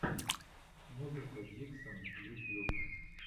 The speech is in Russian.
музыка диксон ютьюб